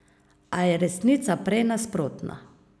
A je resnica prej nasprotna.